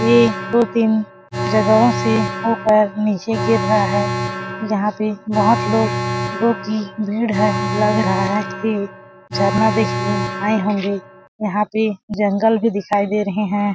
ये दो तीन जगहों से होकर नीचे गिर रहा है यहाँ पे बहोत लोग लोगों की भीड़ है लग रहा है की झरना देखने आये होंगे यहाँ पे जंगल भी दिखाई दे रहे हैं ।